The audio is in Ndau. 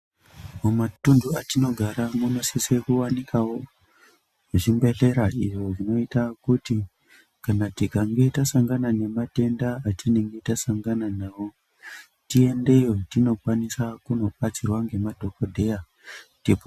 Mumatundu atinogara munosise kuwanikawo zvibhehlera izvo zvinoita kuti kana tikange tasangana nematenda atinenge tasangana nawo tiendeyo tinokwanisa kunobatsirwa ngema. dhokodheya.